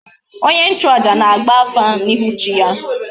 Onye nchu aja na agba afa na ihu chi ya